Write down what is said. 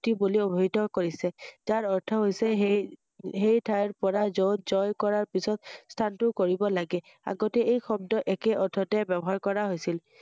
এই বুলি অভিহিত কৰিছে৷যাৰ অৰ্থ হৈছে সেই~সেইঠাইৰ পৰা য‘ত জয় কৰাৰ পিছত স্হানান্তৰ কৰিব লাগে৷আগতে এই শব্দ একে অৰ্থতে ব্যৱহাৰ কৰা হৈছিল৷